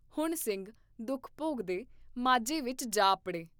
ਹੁਣ ਸਿੰਘ ਦੁੱਖ ਭੋਗਦੇ ਮਾਝੇ ਵਿਚ ਜਾ ਅੱਪੜੇ।